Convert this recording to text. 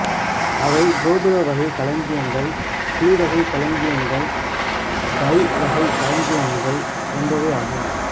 அவை கோபுரவகைக் களஞ்சியங்கள் குழிவகைக் களஞ்சியங்கள் பைவகைக் களஞ்சியங்கள் என்பனவாகும்